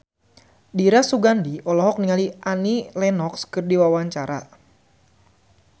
Dira Sugandi olohok ningali Annie Lenox keur diwawancara